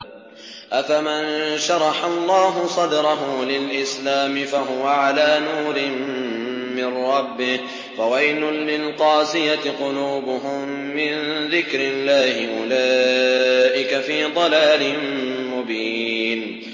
أَفَمَن شَرَحَ اللَّهُ صَدْرَهُ لِلْإِسْلَامِ فَهُوَ عَلَىٰ نُورٍ مِّن رَّبِّهِ ۚ فَوَيْلٌ لِّلْقَاسِيَةِ قُلُوبُهُم مِّن ذِكْرِ اللَّهِ ۚ أُولَٰئِكَ فِي ضَلَالٍ مُّبِينٍ